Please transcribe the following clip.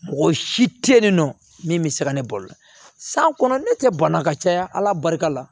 Mɔgɔ si tɛ ye nin nɔ min bɛ se ka ne balo san kɔnɔ ne tɛ banna ka caya barika la